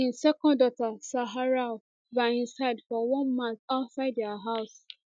im second daughter zaharau by im side for one mat outside dia house